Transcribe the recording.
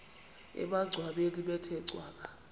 emangcwabeni bethe cwaka